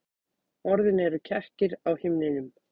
Orðin eru kekkir á himninum.